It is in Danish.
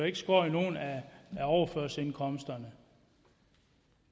ikke skåret i nogen af overførselsindkomsterne